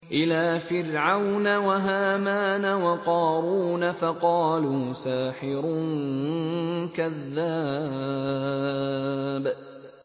إِلَىٰ فِرْعَوْنَ وَهَامَانَ وَقَارُونَ فَقَالُوا سَاحِرٌ كَذَّابٌ